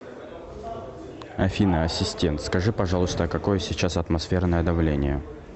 афина ассистент скажи пожалуйста какое сейчас атмосферное давление